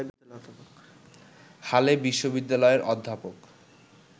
হালে বিশ্ববিদ্যালয়ের অধ্যাপক